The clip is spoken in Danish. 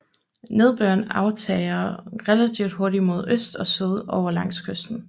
Nedbøren aftager relativt hurtigt mod øst og syd over langs kysten